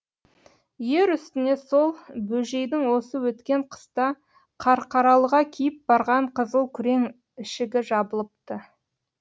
ер үстіне сол бөжейдің осы өткен қыста қарқаралыға киіп барған қызыл күрең ішігі жабылыпты